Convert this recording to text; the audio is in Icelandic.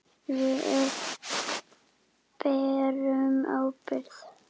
Við öll berum ábyrgð.